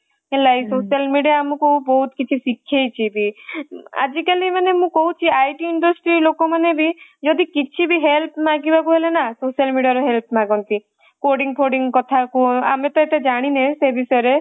ହେଲା ଏଇ social media ଆମକୁ ବହୁତ କିଛି ଶିଖେଇଛି ବି ଆଜି କଲି ମୁଁ କହୁଛି ମାନେ IT industry ଲୋକମାନେ ବି ମାନେ କିଛି ବି help ମାଗିବାକୁ ହେଲେ ନ social media ର help ମାଗନ୍ତି coding ଫୋଡିଙ୍ଗ କଥା କୁହ ଆମେ ତ ଏତେ ଜାଣି ସେ ବିଷୟରେ